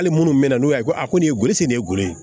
Hali minnu bɛ na n'u y'a ye ko a ko nin kosɔn ne ye golo ye